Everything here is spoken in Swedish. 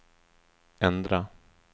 ändra